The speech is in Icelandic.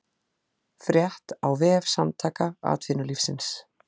Frétt á vef Samtaka atvinnulífsins